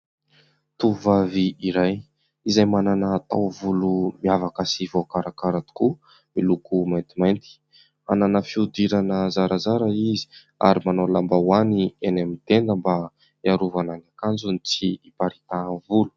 Tovovavy iray izay manana taovolo miavaka sy voakarakara tokoa, miloko maintimainty. Manana fihodirana zarazara izy ary manao lambaoany eny amin'ny tenda mba hiarovana ny akanjony tsy hiparitahan'ny volo.